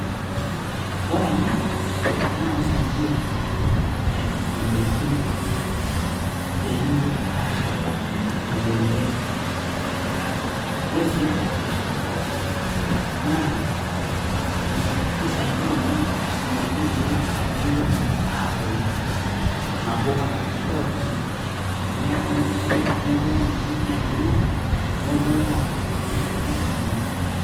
Ore ena naa keisaidia edaikin, peemeitoki aashurtakino imoyiaritin, ore sii angae naa keisaidia idaikin peemeitoki aarroyo nabo Kata pookin amu keya naaji nerroyo idaikin pookin maibung'a neshurraki engae emoyian.